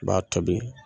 I b'a tobi